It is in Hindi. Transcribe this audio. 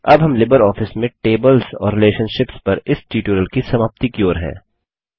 अब हम लिबरऑफिस में टेबल्स और रिलेशनशिप्स पर इस ट्यूटोरियल की समाप्ति की ओर हैं